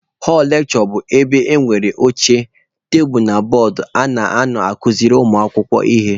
Họlụ lekshure bụ ebe nwere oche, tebulu na bọọdụ a na-anọ akuziri ụmụ akwụkwọ ihe.